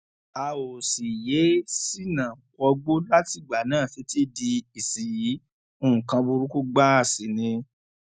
a ò sì yéé ṣínà wọgbó látìgbà náà títí di ìsinyìí nǹkan burúkú gbáà sí ni